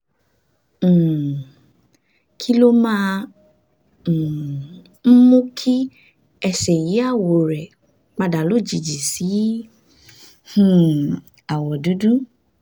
um kí ló máa um ń mú kí ẹsẹ̀ yí àwọ̀ rẹ̀ padà lójijì sí um àwọ̀ dúdú?